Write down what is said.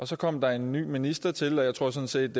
så kommet en ny minister til og jeg tror sådan set